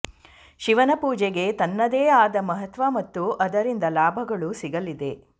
ಶಿವನ ಪೂಜೆಗೆ ತನ್ನದೇ ಆದ ಮಹತ್ವ ಮತ್ತು ಅದರಿಂದ ಲಾಭಗಳು ಸಿಗಲಿದೆ